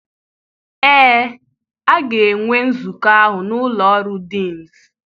ee, a ga-enwe nzukọ ahụ n'ụlọ ọrụ deans.